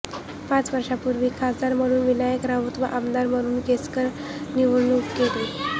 पाच वर्षांपूर्वी खासदार म्हणून विनायक राऊत व आमदार म्हणून केसरकर निवडुन गेले